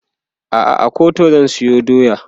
a'a a Kuta zan sayo doya